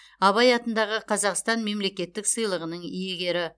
абай атындағы қазақстан мемлекеттік сыйлығының иегері